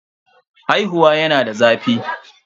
Haihuwa yana da zafi.